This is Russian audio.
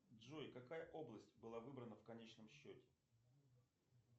джой какая область была выбрана в конечном счете